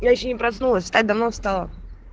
я ещё не проснулась так давно встала